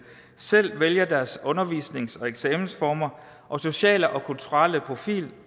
selv vælger deres undervisnings og eksamensformer og sociale og kulturelle profiler